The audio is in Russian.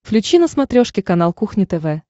включи на смотрешке канал кухня тв